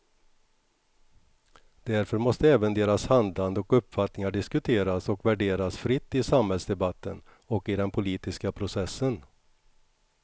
Därför måste även deras handlande och uppfattningar diskuteras och värderas fritt i samhällsdebatten och i den politiska processen.